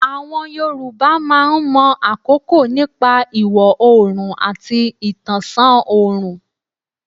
Àwọn Yorùbá máa mọ̀ àkókò nípa ìwọ̀ oòrùn àti ìtànṣán ọ̀rùn.